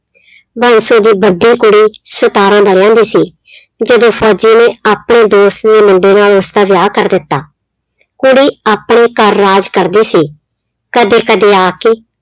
ਬਾਂਸੋ ਦੀ ਵੱਡੀ ਕੁੜੀ ਸਤਾਰਾਂ ਵਰ੍ਹਿਆਂ ਦੀ ਸੀ ਜਦੋਂ ਫ਼ੋਜ਼ੀ ਨੇ ਆਪਣੇ ਦੋਸਤ ਦੇ ਮੁੰਡੇ ਨਾਲ ਉਸਦਾ ਵਿਆਹ ਕਰ ਦਿੱਤਾ, ਕੁੜੀ ਆਪਣੇ ਘਰ ਰਾਜ ਕਰਦੀ ਸੀ, ਕਦੇ ਕਦੇ ਆ ਕੇ